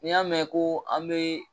Ni y'a mɛn ko an be